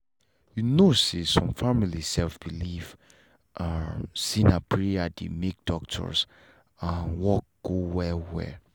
u know say some family sef believe um say na prayer dey make doctors um work go well well